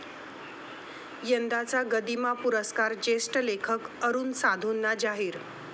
यंदाचा गदिमा पुरस्कार ज्येष्ठ लेखक अरूण साधूंना जाहीर